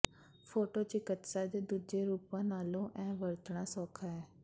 ਫੋਟੋਿਚਿਕਤਸਾ ਦੇ ਦੂਜੇ ਰੂਪਾਂ ਨਾਲੋਂ ਇਹ ਵਰਤਣਾ ਸੌਖਾ ਹੈ